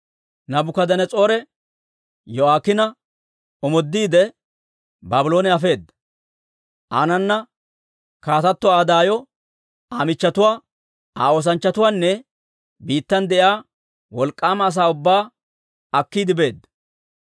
Naabukadanas'oore Yo'aakiina omoodiide, Baabloone afeedda; aanana kaatato Aa daayo, Aa machchatuwaa, Aa oosanchchatuwaanne biittan de'iyaa wolk'k'aama asaa ubbaa akkiide beedda.